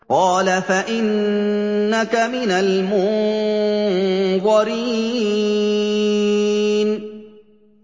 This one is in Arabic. قَالَ فَإِنَّكَ مِنَ الْمُنظَرِينَ